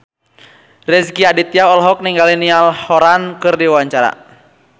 Rezky Aditya olohok ningali Niall Horran keur diwawancara